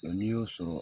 n'i y'o sɔrɔ